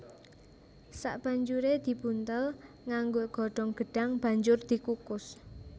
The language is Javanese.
Sabanjuré dibuntel nganggo godhong gedhang banjur dikukus